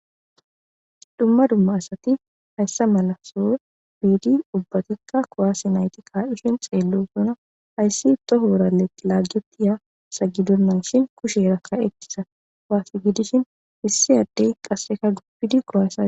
dumma dumma asati hayssa malaso biidi ubbatikka koaasi nayti kaadishin xeello suna hayssi tohourae laaggetiya sagidunnanshin kushe rakka etisa kwaasi gidishin hissi addey qasseka gubbiidi korasa